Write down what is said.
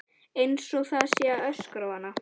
Einsog það sé að öskra á hana.